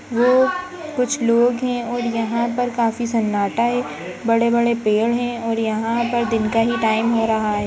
वो कुछ लोग हैं और यहाँ पर काफी सन्नाटा है। बड़े बड़े पेड़ हैं और यहाँ पर दिन का ही टाइम हो रहा है।